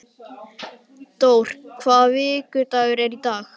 Dór, hvaða vikudagur er í dag?